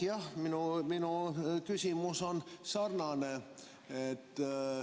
Jah, minu küsimus on sarnane.